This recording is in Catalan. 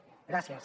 gràcies